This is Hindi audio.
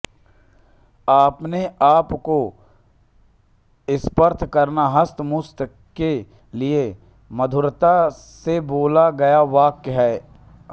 अपने आप को स्पर्श करना हस्तमैथुन के लिये मधुरता से बोला गया वाक्य है